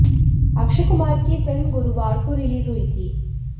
अक्षय कुमार की यह फिल्म गुरुवार को रिलीज हुई थी